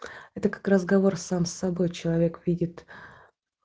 это как разговор сам с собой человек видит